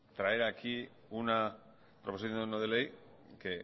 traer aquí una proposición no de ley que